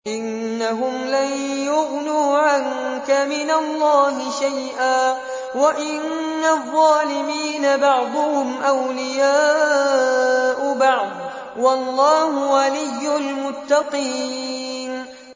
إِنَّهُمْ لَن يُغْنُوا عَنكَ مِنَ اللَّهِ شَيْئًا ۚ وَإِنَّ الظَّالِمِينَ بَعْضُهُمْ أَوْلِيَاءُ بَعْضٍ ۖ وَاللَّهُ وَلِيُّ الْمُتَّقِينَ